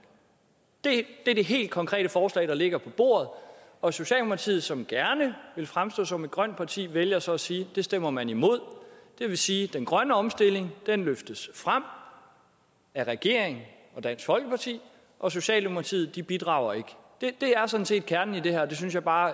det er det helt konkrete forslag der ligger på bordet og socialdemokratiet som gerne vil fremstå som et grønt parti vælger så at sige at det stemmer man imod det vil sige at den grønne omstilling løftes frem af regeringen og dansk folkeparti og socialdemokratiet bidrager ikke det er sådan set kernen i det her og det synes jeg bare